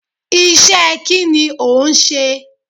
Isẹ́ kí ni ò ń ṣe?